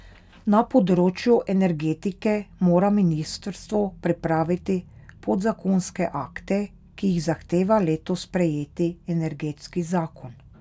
Na področju energetike mora ministrstvo pripraviti podzakonske akte, ki jih zahteva letos sprejeti energetski zakon.